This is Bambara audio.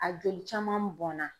A joli caman bɔnna